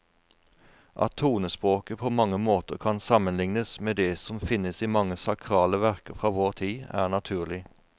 At tonespråket på mange måter kan sammenlignes med det som finnes i mange sakrale verker fra vår tid, er naturlig.